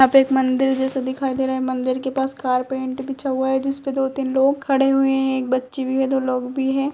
यहा पे एक मंदिर जैसा दिखाई दे रहा है मंदिर के पास कारपेट बिछा हुआ है जिसपे दो तीन लोग खड़े हुए है। एक बच्ची भी है। दो लोग भी है।